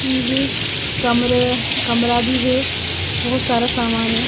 कमरे कमरा भी है बहुत सारा सामान है।